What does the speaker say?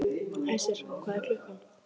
Æsir, hvað er klukkan?